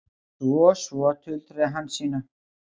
Svo, svo, tuldraði Hansína.